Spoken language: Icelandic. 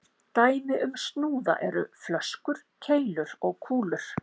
Dæmi um snúða eru flöskur, keilur og kúlur.